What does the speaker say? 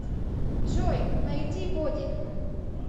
джой найди боди